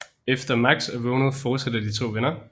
Efter Max er vågnet forsætter de to venner